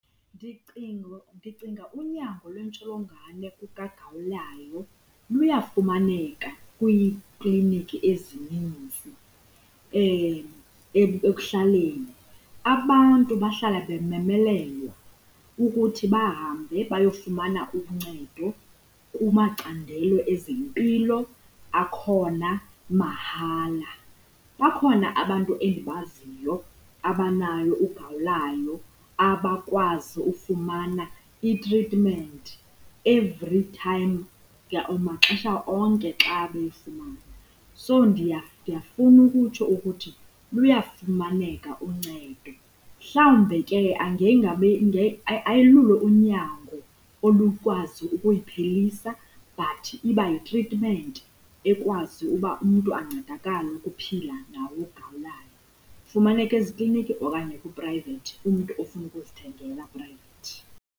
Ndicinga unyango lwentsholongwane kagawulayo luyafumaneka kwiikliniki ezininzi ekuhlaleni. Abantu bahlala bememelelwa ukuthi bahambe bayofumana uncedo kumacandelo ezempilo, akhona mahala. Bakhona abantu endibaziyo abanayo ugawulayo abakwazi ufumana itritmenti every time maxesha onke xa beyifumana. So ndiyafuna ukutsho ukuthi luyafumaneka uncedo, mhlawumbe ke ayilulo unyango olukwazi ukuyiphelisa but iba yitritmenti ekwazi uba umntu ancedakale ukuphila nawo ugawulayo. Ifumaneka ezikliniki okanye kuprayivethi kumntu ofuna ukuzithengela private.